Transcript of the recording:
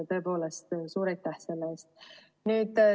Tõepoolest, suur aitäh selle eest!